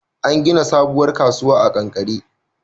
An gina sabuwar kasuwa a kankare